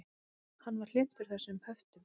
Hann var hlynntur þessum höftum.